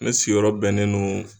Ne sigiyɔrɔ bɛnnen don